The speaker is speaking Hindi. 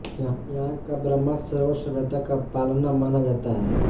यहां का ब्रह्म सरोवर सभ्यता का पालना माना जाता है